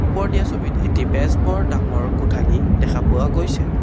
ওপৰত দিয়া ছবিত এটি বেজবৰ ডাঙৰ কোঠালি দেখা পোৱা গৈছে।